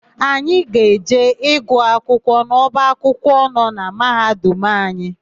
Anyị ga-eje ịgụ akwụkwọ n'ọba akwụkwọ nọ na Mahadum anyị.